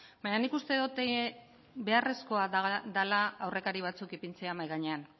baina nik uste dut beharrezkoa dela aurrekari batzuk ipintzea mahai gainean